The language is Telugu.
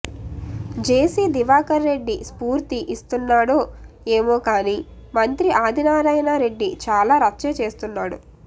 జేసీ దివాకర్ రెడ్డి స్ఫూర్తి ఇస్తున్నాడో ఏమోకానీ మంత్రి ఆదినారాయణ రెడ్డి చాలా రచ్చే చేస్తున్నాడు